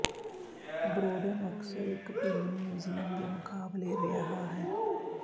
Bodrum ਅਕਸਰ ਇੱਕ ਭਿਨ ਮਿਊਜ਼ੀਅਮ ਦੇ ਮੁਕਾਬਲੇ ਰਿਹਾ ਹੈ